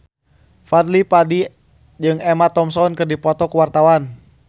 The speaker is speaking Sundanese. Fadly Padi jeung Emma Thompson keur dipoto ku wartawan